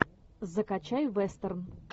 закачай вестерн